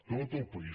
tot el país